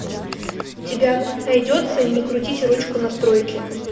у тебя найдется не крутите ручку настройки